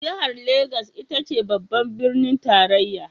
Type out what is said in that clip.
Jihar Legas ita ce babban birnin tarayya.